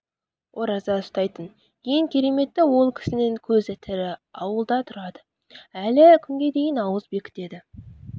ораза ұстайтын ең кереметі ол кісінің көзі тірі ауылда тұрады әлі күнге дейін ауыз бекітеді